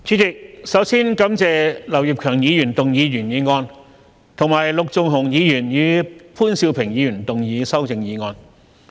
主席，首先感謝劉業強議員動議原議案，以及陸頌雄議員和潘兆平議員動議修正案。